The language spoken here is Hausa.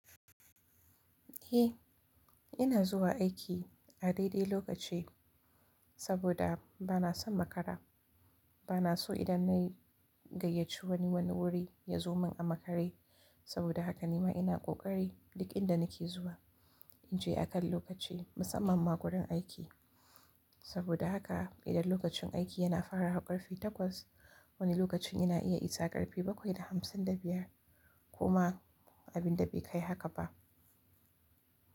Eh, ina zuwa aiki a daidai lokaci saboda bana son makara. Bana so idan nayi gayyaci wani, wani wuri yazo min a makare saboda haka nema ina ƙoƙari duk inda nake zuwa inje akan lokaci musamman ma gurin aiki saboda haka idan lokacin aiki yana farawa ƙarfe takwas, wani lokacin ina iya isa ƙarfe bakwai da hamsin da biyar koma abinda bai kai haka ba.